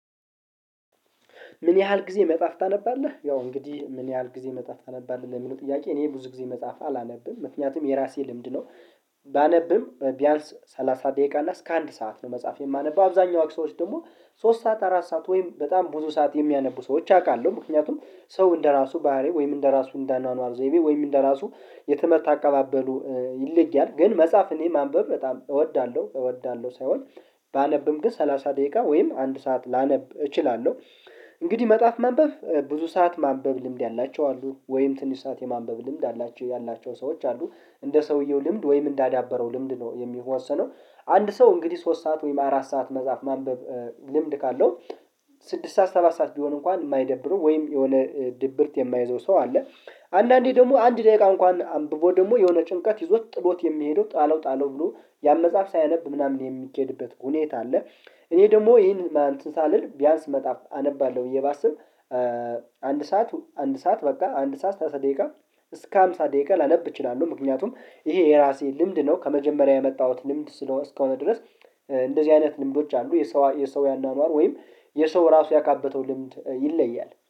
ምን? ያህል ጊዜ መጽሐፍ ታነባለህ ያው እንግዲህ ምን ያህል ጊዜ መጽሐፍ አነባለሁ ለሚለው ጥያቄ እኔ ብዙ ጊዜ መጽሐፍ አላነብም ምክንያቱም የራሴ ልምድ ነው። ባነብም ቢያንስ ሰላሳ ደቂቃ እና እስከ አንድ ሰዓት ነው መጽሐፍ የማነበው አብዛኛው አክሰዎች ደግሞ ሶስት ሰዓት አራት ሰዓት ወይም በጣም ብዙ ሰዓት የሚያነቡ ሰዎች አውቃለሁ። ምክንያቱም ሰው እንደራሱ ባህሪ ወይም እንደራሱ እንደአኗኗር ዘይቤ ወይም እንደ ራሱ የተመረታ አካባበሉ ይለያል ግን መጽሐፍን የማንበብ በጣም እወዳለሁ። እወዳለሁ ሳይሆን ባነብም ግን ሰላሳ ደቂቃ ወይም አንድ ሰዓት ላነብ እችላለሁ። እንግዲህ መጽሐፍ መንበብ ብዙ ሰዓት ማንበብ ልምድ ያላቸው አሉ ወይም ትንሽ ሰዓት የማንበብ ልምድ አላቸው ያላቸው ሰዎች አሉ። እንደ ሰውየው ልምድ ወይም እንዳዳበረው ልምድ ነው የሚሆነው ወሰነው። አንድ ሰው እንግዲህ ሶስት ሰዓት ወይም አራት ሰዓት መጽሐፍ ማንበብ ልምድ ካለው ስድስት ሰዓት ሰባት ሰዓት ቢሆን እንኳን የማይደብረው ወይም የሆነ ድብርት የማይዘው ሰው አለ። አንዳንዴ ደግሞ አንድ ደቂቃ እንኳን አንብቦ ደግሞ የሆነ ጭንቀት ይዞት ጥሎት የሚሄደው ጣለው ጣለው ብሎ ያን መጽሐፍ ሳያነብ ምናምን የሚኬድበት ሁኔታ አለ። እኔ ደግሞ ይሄን ሳልል ቢያንስ መጣፍ አነባለሁ ብዬ ባስብ አንድ ሰዓት አንድ ሰዓት በቃ አንድ ሰዓት ሰላሳ ደቂቃ እስከ ሃምሳ ደቂቃ ላለብ እችላለሁ። ምክንያቱም ይሄ የራሴ ልምድ ነው ከመጀመሪያ የመጣሁት ልምድ ስለሆነ እስከሆነ ድረስ እንደዚህ አይነት ልምዶች አሉ የሰው የሰው ያንዳንዱ ወይም የሰው ራሱ ያካበተው ልምድ ይለያል